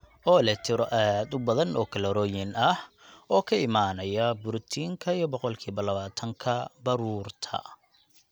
oo leh tiro aad u badan oo kalooriyooyin ah oo ka imanaya borotiinka iyo boqolkiiba labaatan ka baruurta.